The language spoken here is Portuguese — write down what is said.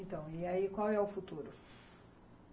Então, e aí, qual é o futuro?